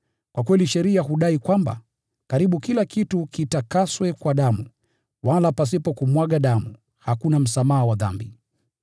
Kwa kweli sheria hudai kwamba, karibu kila kitu kitakaswe kwa damu, wala pasipo kumwaga damu, hakuna msamaha wa dhambi.